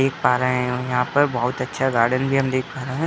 देख पा रहे हैं और यहाँ पर हम बहोत अच्छा गार्डन भी हम देख पा रहे हैं।